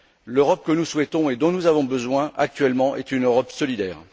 L'Europe que nous souhaitons et dont nous avons besoin actuellement est une Europe solidaire.